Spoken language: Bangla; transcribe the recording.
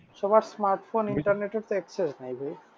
সবার smartphone internet access নাই ভাই।